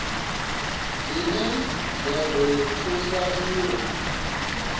dzine dza ḓo thusa uri